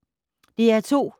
DR2